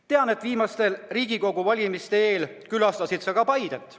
Tean, et viimaste Riigikogu valimiste eel sa külastasid ka Paidet.